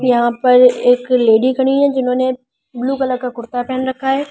यहां पर एक लेडी खड़ी है जिन्होंने ब्लू कलर का कुर्ता पहन रखा है।